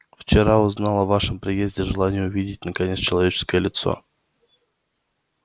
вчера узнал о вашем приезде желание увидеть наконец человеческое лицо